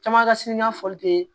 Caman ka siri ɲɛfɔli kɛ